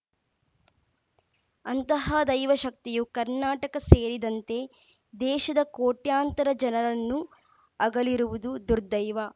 ಅಂತಹ ದೈವಶಕ್ತಿಯು ಕರ್ನಾಟಕ ಸೇರಿದಂತೆ ದೇಶದ ಕೋಟ್ಯಂತರ ಜನರನ್ನು ಅಗಲಿರುವುದು ದುರ್ದೈವ